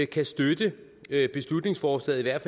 kan støtte beslutningsforslaget i hvert